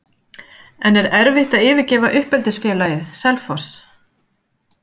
En er erfitt að yfirgefa uppeldisfélagið, Selfoss?